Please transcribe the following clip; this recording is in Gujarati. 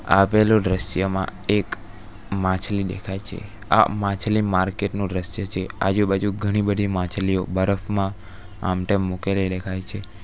આપેલો દ્રશ્યમાં એક માછલી દેખાય છે આ માછલી માર્કેટ નું દ્રશ્ય છે આજુબાજુ ઘણી બધી માછલીઓ બરફમાં આમ તેમ મૂકેલી દેખાય છે.